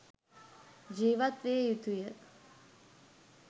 ජීවත් විය යුතු ය.